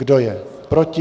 Kdo je proti?